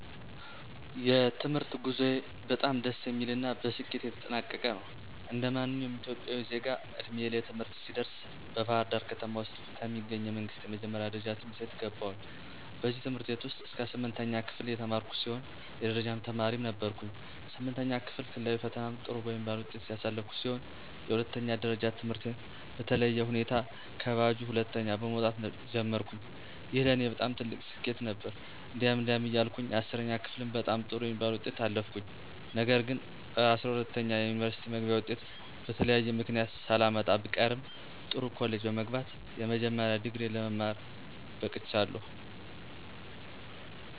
የትምህርት ጉዞዬ በጣም ደስ የሚል እና በስኬት የተጠናቀቀ ነው። እንደማንኛውም ኢትዮጵያዊ ዜጋ ዕድሜዬ ለትምህርት ሲደርስ በባህርዳር ከተማ ውስጥ ከሚገኙ የመንግስት የመጀመሪያ ደረጃ ትምህርት ቤት ገባሁኝ። በዚህ ትምህርት ቤት እስከ ስምንተኛ ክፍል የተማርኩ ሲሆን የደረጃ ተማሪም ነበርኩኝ። ስምንተኛ ክፍል ክልላዊ ፈተናም ጥሩ በሚባል ውጤት ያለፍኩ ሲሆን የሁለተኛ ደረጃ ትምህርቴን በተለየ ሁኔታ ከባጁ ሁለተኛ በመወጣት ጀመርኩኝ። ይህ ለኔ በጣም ትልቅ ስኬት ነበር። እንዲህ እንዲያ እያልኩ 10ኛ ክፍልም በጣም ጥሩ በሚባል ውጤት አለፍኩኝ። ነገር ግንጰ12ኛ የዩኒቨርስቲ መግቢያ ወጤት በተለያየ ምክንያት ሳላመጣ ብቀርም ጥሩ ኮሌጅ በመግባት የመጀመሪያ ዲግሪየ ለመማረክ በቅቻለሁ።